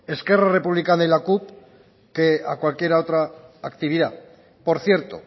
esquerra republicana y la cup que a cualquiera otra actividad por cierto